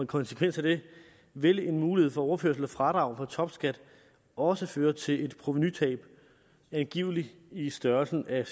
konsekvens af det vil en mulighed for overførsel af fradrag for topskat også føre til et provenutab angiveligt i størrelsesordenen